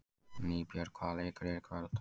Nýbjörg, hvaða leikir eru í kvöld?